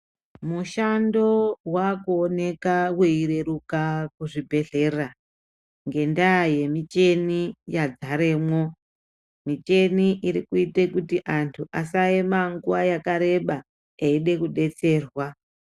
Mushando wakuoneka weireruka kuzvibhehlera ngendaa yemicheni yagaremwo. Micheni irikuite kuti anhu asaema nguwa yakareba eida kudetserwa.